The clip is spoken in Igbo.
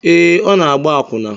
Ee, ọ na-agba akwụna